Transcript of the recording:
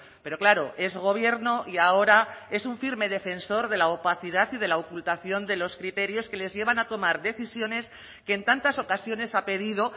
pero claro es gobierno y ahora es un firme defensor de la opacidad y de la ocultación de los criterios que les llevan a tomar decisiones que en tantas ocasiones ha pedido